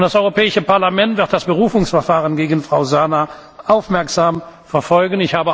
Das Europäische Parlament wird das Berufungsverfahren gegen Frau Zana aufmerksam verfolgen.